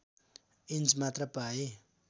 inch मात्र पाए